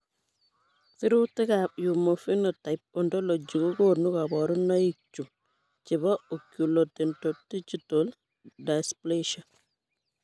Sirutikab Human Phenotype Ontology kokonu koborunoikchu chebo Oculodentodigital dysplasia.